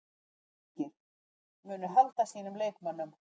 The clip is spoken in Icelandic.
Berserkir: Munu halda sínum leikmönnum.